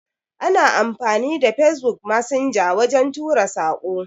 Ana amfani da Facebook messenger wajen tura Sako.